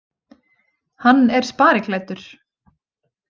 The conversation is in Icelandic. Hann er spariklæddur.